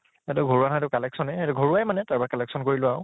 এইটো ঘৰুৱা হৌ এইটো collection য়ে এইটো ঘৰুৱাই মানে তাৰ পা collection কৰিলোঁ আৰু